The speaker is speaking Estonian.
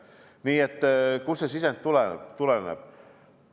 Nii et kust see sisend tuleb?